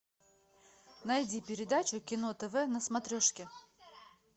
найди передачу кино тв на смотрешке